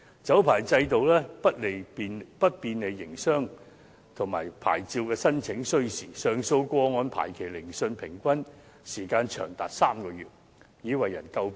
酒牌制度不便利營商，而且牌照申請需時，上訴個案排期聆訊的平均時間長達3個月已為人詬病。